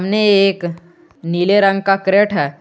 ने एक नीले रंग का क्रेट हैं।